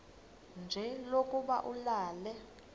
nje lokuba ulale